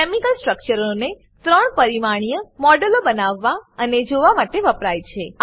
chemical સ્ટ્રક્ચરો ને 3 પરિમાણીય મોડેલો બનાવવા અને જોવા માટે વપરાય છે